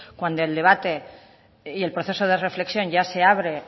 cuando el debate y el proceso de reflexión ya se abre